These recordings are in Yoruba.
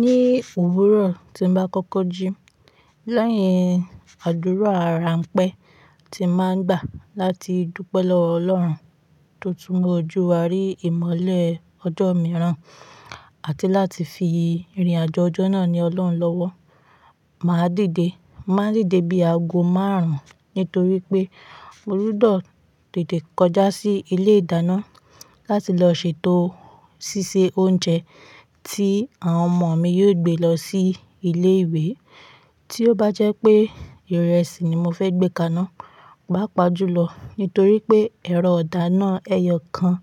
Ní òwúrọ̀ tí n bá kọ́kọ́ jí, lẹ́yìn àdúrà àráńpẹ́ tí máa ń gbà láti dúpẹ́ lọ Ọlọ́run tó tún mu ojú wa rí ìmọ́lẹ̀ ọjọ́ mìíràn àti láti fi ìrìnàjò ọjọ́ náà ní Ọlọ́run lọ́wọ́, màá dìde. Màá dìde bí aago márùn-ún nítorí pé mo gbudo tètè kọjá sí ilé ìdáná láti lọ ṣètò ṣí se oúnjẹ tí àwọn ọmọ mi yóò gbé lọ sí ilé ìwé. Tí ó bá jẹ́ pé ìrẹsì ni mo fẹ́ gbé kaná, pa pa julọ nítorí pé ẹ̀rọ idana, ẹyọ kan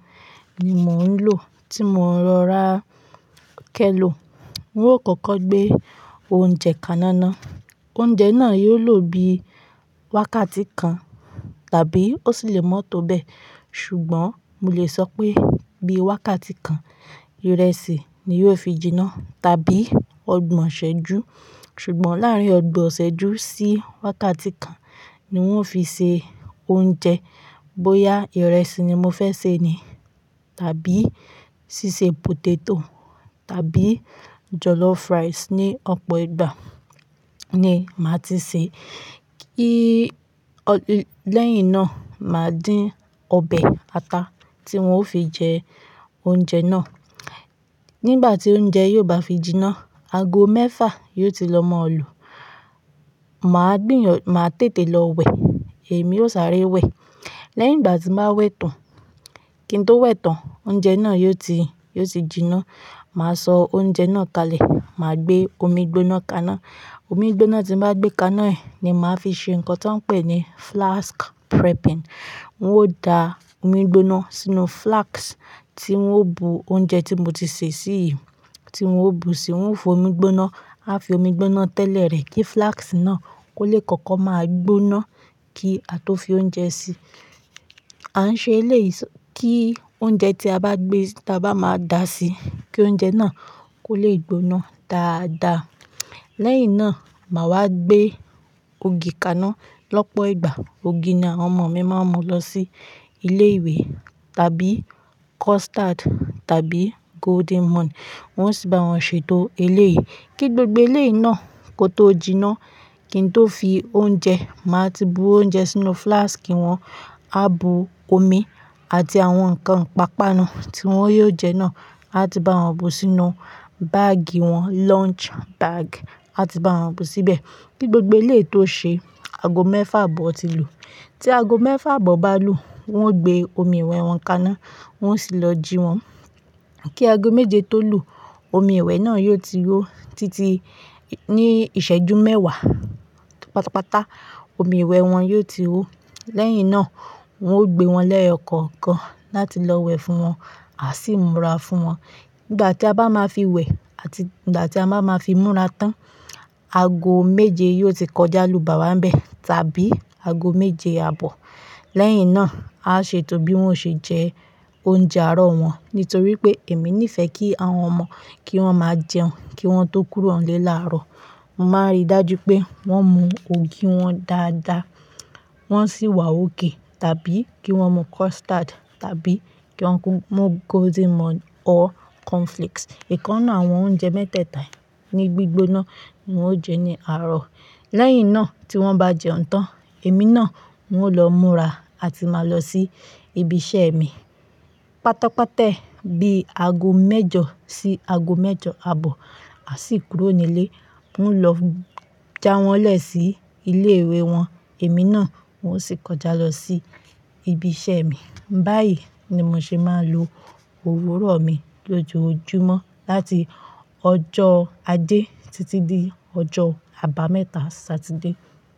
ni mò ń lò tí mo ń rọ ra kẹ́lọ̀. Oun kọ́kọ́ gbé oúnjẹ ka iná naa. Oúnjẹ náà yóò lò bí wákàtí kan tàbí ó sì le mọ́tò bẹ́ẹ̀ ṣùgbọ́n mo lè sọ pé bí wákàtí kan, ìrẹsì ni yóò fi jiná tàbí ọgbọ̀n ṣẹ́jú ṣùgbọ́n láàrín ọgbọ̀n ṣẹ́jú sí wákàtí kan ni wọ́n ó fi ṣe oúnjẹ. Bí ó ya ìrẹsì ni mo fẹ́ sè ni tàbí ṣíṣe potato tàbí jollof rice ní ọ̀pọ̀ ìgbà ni màá ti sè. Kí-- lẹ́yìn náà, màá dín ọbẹ̀ ata tí wọ́n ó fi jẹ oúnjẹ náà. Nígbà tí oúnjẹ yóò bá fi jiná, aago mẹ́fà yóò ti lọ mò lù. Màá gbìyàn-- màá tètè lọ wẹ̀, èmi ó sáré wẹ̀. Lẹ́yìn ìgbà tí n bàá wẹ̀ tán, kí n tó wẹ̀ tán, oúnjẹ náà yóò ti, yóò ti jiná. Màá sọ oúnjẹ náà kalẹ̀, màá gbé omi gbóná kaná. Omi gbóná tí bàá gbé kaná yìí ni màá fi ṣe nǹkan tí wọ́n ń pè ní flask prepping. Óò da omi gbóná sínú flask tí ń ó bu oúnjẹ tí mo ti sè sí yi, tí ọ́ó bu sí, wọ́n fọ omi gbóná, á fi omi gbóná tẹ́lẹ̀ rẹ̀ kí flask náà kó lè kọ́kọ́ máa gbóná kí a tó fi oúnjẹ sí i. A ń ṣe eléyìí kí oúnjẹ tí a bá gbé, tí a bá máa dá sí i kí oúnjẹ náà kó lè gbóná dáadáa. Lẹ́yìn náà, màá wá gbé ògì kaná lọ́pọ̀ ìgbà. Ògì ni àwọn ọmọ mi máa ń mu lọ sí ilé ìwé tàbí custard tàbí golden morn. Wọ́n sì bá wọn ṣètò eléyìí. Kí gbogbo eléyìí náà kó tó jiná, kí n tó fi oúnjẹ, màá ti bu oúnjẹ sínú flask wọn, á bu omi àti àwọn nǹkan ipápánu tí wọ́n yóò jẹ náà, àti bá wọn bu sínú báàgì wọn, lunch bag, àti bá wọn bu síbẹ̀. Kí gbogbo eléyìí tó ṣe, aago mẹ́fà abọ̀ ti lù. Tí aago mẹ́fà abọ̀ bá lù, wọ́n ó gbé omi ìwẹ̀ wọn kaná, wọ́n sì lọ jí wọn. Kí aago méje tó lù, omi ìwẹ̀ náà yóò ti hó. Títí ní ìṣẹ́jú mẹ́wàá pátápátá, omi ìwẹ̀ wọn yóò ti hó. Lẹ́yìn náà, wọ́n ó gbé wọn lẹ́ẹ̀yo kọ̀kan láti lọ wẹ̀ fún wọn à sí múra fún wọn. Nígbà tí a bá máa fi wẹ̀ àti nígbà tí a bá máa fi múra tán, aago méje yóò ti kọjá lù bà wá n bẹ́ẹ̀ tàbí aago méje àbọ̀. Lẹ́yìn náà, á ṣe ètò bí wọ́n ó ṣe jẹ oúnjẹ àárọ̀ wọn nítorí pé èmi nífẹ̀ẹ́ kí àwọn ọmọ, kí wọ́n máa jẹun kí wọ́n tó kúrò nlé láàárọ̀. Màá rí dájú pé wọ́n mu ògì wọn dáadáa, wọ́n sì wà òkay tàbí kí wọ́n mu custard tàbí kí wọ́n mu golden morn or cornflakes. Ìkán nu àwọn oúnjẹ mẹ́tẹ̀ẹ̀ta ní gbígbóná ni wọ́n ó jẹ ní àárọ̀. Lẹ́yìn náà, tí wọ́n bá jẹun tán, èmi náà un ó lọ múra àti máa lọ sí ibi iṣẹ́ mi. Pátápátá bí aago mẹ́jọ sí aago mẹ́jọ àbọ̀, a sì kúrò nílé. Un ó lọ já wọn lè sí ilé ìwé wọn. Èmi náà oun ó sì kọjá lọ sí ibi iṣẹ́ mi. Báyìí ni mo ṣe máa n lò òwúrọ̀ mi lójoojúmọ́ láti ọjọ́ ajé títí di ọjọ́ àbámẹ́ta Saturday.